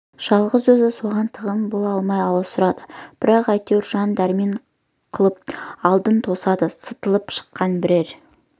жалғыз өзі соған тығын бола алмай аласұрады бірақ әйтеуір жан-дәрмен қылып алдын тосады сытылып шыққан бірер